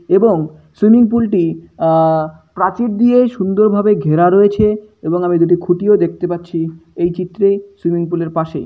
এবং swimming pool -টি আ প্রাচীর দিয়ে সুন্দরভাবে ঘেরা রয়েছে এবং আমি দুটি খুঁটিও দেখতে পাচ্ছি। এই চিত্রে সুইমিং পুল -এর পাশেই ।